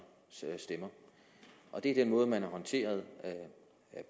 stemmer det er den måde man har håndteret